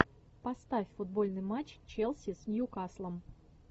поставь футбольный матч челси с ньюкаслом